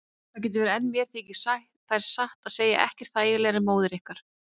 Það getur verið en mér þykir þær satt að segja ekkert þægilegri en móður ykkar.